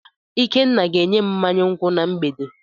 Ikenna ga enyem mmanya nkwu na mgbede.